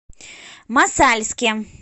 мосальске